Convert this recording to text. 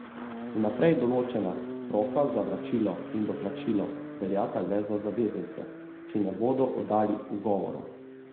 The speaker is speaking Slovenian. Vnaprej določena roka za vračilo in doplačilo veljata le za zavezance, ki ne bodo oddali ugovorov.